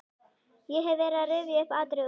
Ég hef verið að rifja upp atriði úr